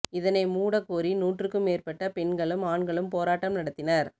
இதனை மூட கோரி நூற்றுக்கும் மேற்பட்ட பெண்களும் ஆண்களும் போராட்டம் நடத்தினர்